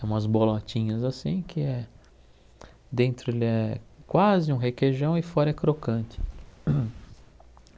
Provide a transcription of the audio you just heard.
É umas bolotinhas assim que é... dentro ele é quase um requeijão e fora é crocante.